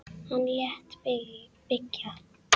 Hann lét byggja